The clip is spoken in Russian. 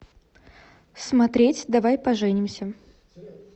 смотреть давай поженимся